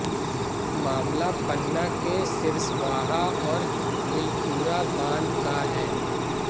मामला पन्ना के सिरस्वाहा और बिलखुरा बांध का है